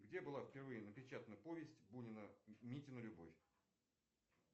где впервые была напечатана повесть бунина митина любовь